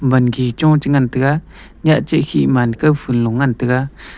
wangi cho chengan taiga nyahchih khih man kawphun lo chingan taiga.